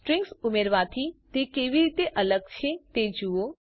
strings ઉમેરવાથી તે કેવી રીતે અલગ છે તે જુઓ